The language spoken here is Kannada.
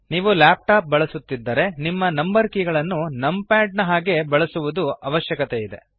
ನೀವು ಲ್ಯಾಪ್ ಟಾಪ್ ಬಳಸುತ್ತಿದ್ದರೆ ನಿಮ್ಮ ನಂಬರ್ ಕೀ ಗಳನ್ನು ನಮ್ ಪ್ಯಾಡ್ ಹಾಗೆ ನೀವು ಅನುಕರಿಸುವದು ಅವಶ್ಯವಿದೆ